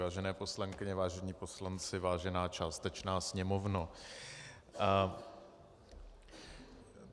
Vážené poslankyně, vážení poslanci, vážená částečná sněmovno.